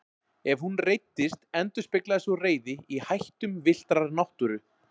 Ef hún reiddist endurspeglaðist sú reiði í hættum villtrar náttúru.